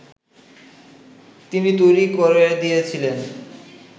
তিনি তৈরী করে দিয়েছিলেন